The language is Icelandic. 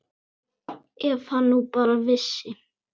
Ef hann nú bara vissi.